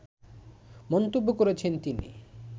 মন্তব্য করেছেন তিনি